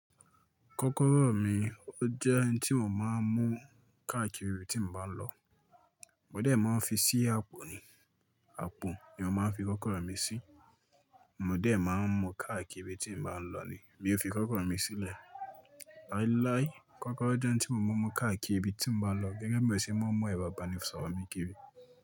Kọ́kọ́rọ́ mi ó jẹ́ ohun tí mò ń máa ń mú káàkiri tí mò ń bá lọ. Mó dẹ̀ máa ń fi sí àpò ni, àpò ni mo máa ń fi kọ́kọ́rọ́ mi sí. Mo dẹ̀ máa ń mú káàkiri tí mò ń bá lọ ni mí ò ń fi kọ́kọ́rọ́ mi sílẹ̀. Láíláí, kọ́kọ́rọ́ jẹ́ ohun tí mo máa nmú káàkiri tí mò ń bá lọ gẹ́gẹ́ bí èsì mọ́ ìbà bà ni sọ̀rọ̀ mi kiri.